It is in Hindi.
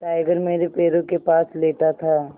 टाइगर मेरे पैरों के पास लेटा था